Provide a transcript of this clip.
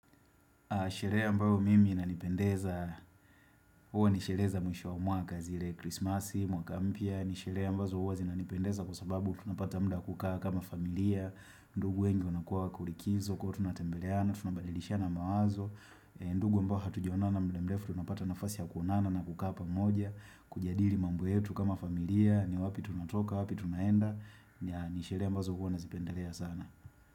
Sherehe ambayo mimi inanipendeza, huwa ni sherehe za mwisho wa mwaka zile krismasi, mwaka mpya, ni sherehe ambazo huwa zinanipendeza kwa sababu tunapata muda wa kukaa kama familia, ndugu wengi wanakuwa wako likizo, kwa hivyo tunatembeleana, tunabadilishana mawazo, ndugu ambao hatujaonana muda mrefu tunapata nafasi ya kuonana na kukaa pamoja, kujadili mambo yetu kama familia, ni wapi tunatoka, wapi tunaenda, ni sherehe ambazo huwa nazipendelea sana.